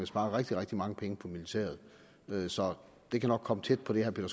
spare rigtig rigtig mange penge på militæret så det kan nok komme tæt på det herre